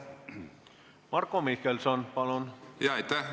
Marko Mihkelson, palun!